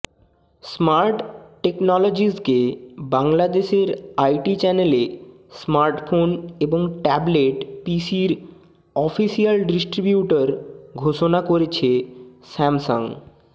smart টেকনোলজিসকে বাংলাদেশের IT চ্যানেলে স্মার্টফোন এবং ট্যাবলেট পিসির অফিসিয়াল ডিস্ট্রিবিউটর ঘোষণা করেছে স্যামসাং